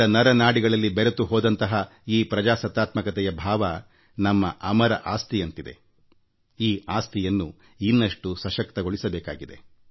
ನಾವು ಆ ಪರಂಪರೆಯನ್ನು ಇನ್ನಷ್ಟು ಸಶಕ್ತಗೊಳಿಸಬೇಕಿದೆ